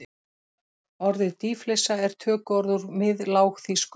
Orðið dýflissa er tökuorð úr miðlágþýsku.